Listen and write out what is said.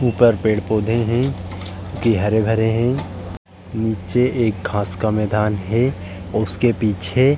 ऊपर पेड़-पौधे हैं जे हरे-भरे है। नीचे एक घास का मैंदान है और उसके पीछे --